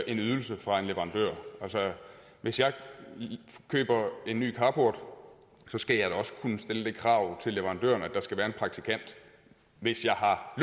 en ydelse fra en leverandør hvis jeg køber en ny carport skal jeg da også kunne stille det krav til leverandøren at der skal være en praktikant hvis jeg har